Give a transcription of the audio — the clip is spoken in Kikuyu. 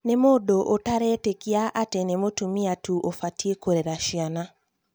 nĩ mũndũ ũtaretĩkia atĩ nĩ mũtumia tũ ũbatie kũrera ciana